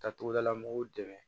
Ka togodala mɔgɔw dɛmɛ